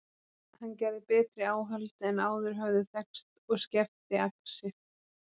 Hann gerði betri áhöld en áður höfðu þekkst og skefti axir.